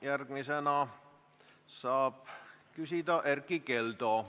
Järgmisena saab küsida Erkki Keldo.